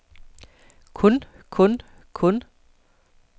kun kun kun